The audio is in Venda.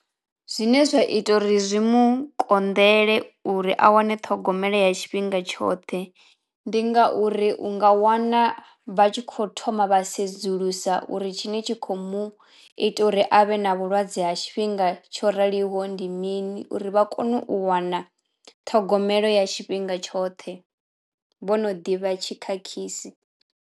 Zwine zwa ita uri zwi mu konḓele uri a wane ṱhogomelo ya tshifhinga tshoṱhe ndi ngauri u nga wana vha tshi kho thoma vha sedzulusa uri tshine tshi khou u mu ita uri avhe na vhulwadze ha tshifhinga tsho raliho ndi mini uri vha kono u wana ṱhogomelo ya tshifhinga tshoṱhe vho no ḓivha tshikhakhisi.